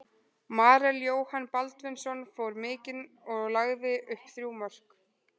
Marel Jóhann Baldvinsson fór mikinn og lagði upp þrjú mörk.